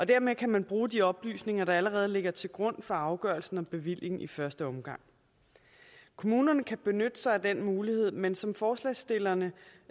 dermed kan man bruge de oplysninger der allerede ligger til grund for afgørelsen om bevilling i første omgang kommunerne kan benytte sig af den mulighed men som forslagsstillerne